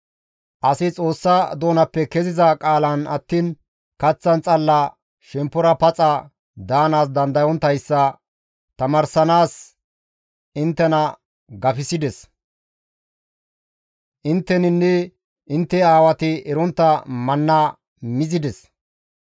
Asi Xoossa doonappe keziza qaalan attiin kaththan xalla shemppora paxa daanaas dandayonttayssa tamaarsanaas inttena gafisides; intteninne intte aawati erontta manna mizides.